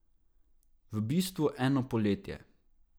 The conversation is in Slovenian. V bistvu eno poletje.